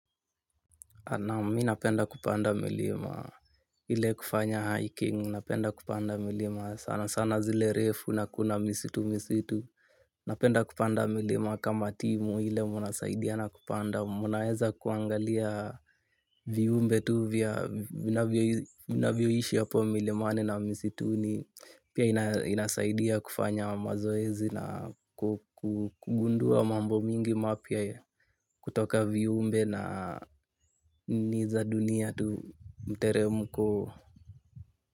Naam mimi napenda kupanda milima ile kufanya hiking, napenda kupanda milima sana sana zile refu na kuna misitu misitu. Napenda kupanda milima kama timu ile munasaidia na kupanda. Mnaweza kuangalia viumbe tu vya vinavyoishi hapo milimani na misituni. Pia inasaidia kufanya mazoezi na kugundua mambo mingi mapya kutoka viumbe na ninii za dunia tu mteremko.